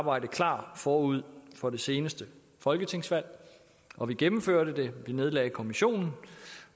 arbejde klar forud for det seneste folketingsvalg og vi gennemførte det vi nedlagde kommissionen